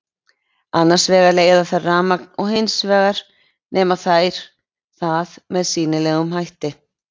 Annars vegar leiða þær rafmagn og hins vegar nema þær það með sýnilegum hætti.